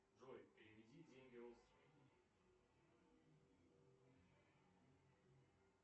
джой переведи деньги родственнику